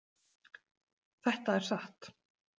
Þetta er satt.